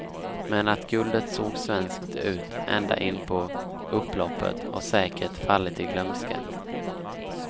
Men att guldet såg svenskt ut ända in på upploppet har säkert fallit i glömska.